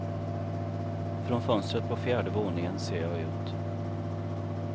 Från fönstret på fjärde våningen ser jag ut.